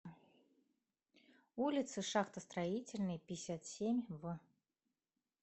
улицы шахтостроительной пятьдесят семь в